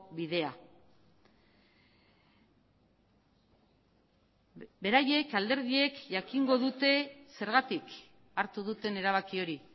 bidea beraiek alderdiek jakingo dute zergatik hartu duten erabaki hori